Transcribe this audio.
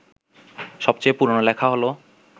সবচেয়ে পুরনো লেখা হল